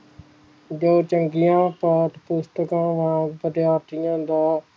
ਦੇ ਚੰਗੀਆਂ ਪਾਠ ਪੁਸਤਾਕਾਂ ਵਾਂਗ ਵਿਦਿਆਰਥੀਆਂ ਦਾ